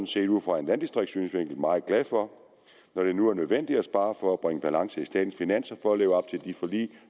set ud fra en landdistriktssynsvinkel meget glad for når det nu er nødvendigt at spare for at bringe balance i statens finanser for at leve op til de forlig